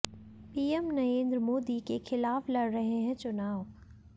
PM Narendra Modi के खिलाफ लड़ रहे है चुनाव